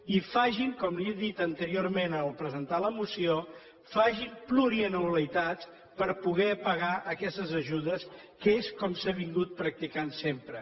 i facin com li he dit anteriorment al presentar la moció facin plurianualitats per poder pagar aquestes ajudes que és com s’ha practicat sempre